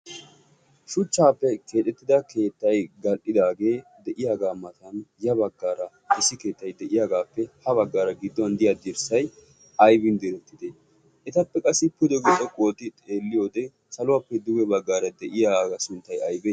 shuchchaappe keexettida keettai gal77idaagee de7iyaagaa matan ya baggaara issi keettai de7iyaagaappe ha baggaara gidduwan diyaddirssai aibin diretide? etappe qassi pudo xoqu ote xeelliyo wode saluwaappe duwe baggaara de7iyaagaa sinttai aibe?